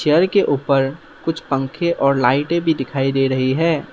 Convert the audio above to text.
घर के ऊपर कुछ पंखे और लाइटें भी दिखाई दे रही है।